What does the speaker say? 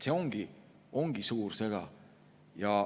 See ongi suur sõda.